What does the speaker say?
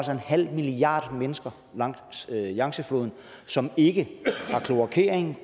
halv milliard mennesker langs yangtzefloden som ikke har kloakering